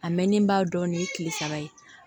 A mɛnnen ba dɔɔnin kile saba ye